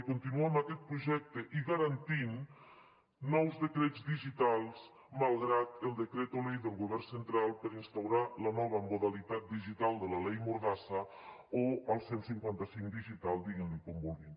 i continuar amb aquest projecte i garantir nous decrets digitals malgrat el decreto ley del govern central per instaurar la nova modalitat digital de la leymordassa o el cent i cinquanta cinc digital diguin li com vulguin